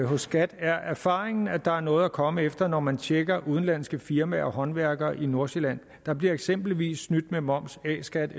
hos skat er erfaringen at der er noget at komme efter når man tjekker udenlandske firmaer og håndværkere i nordsjælland der bliver eksempelvis snydt med moms a skat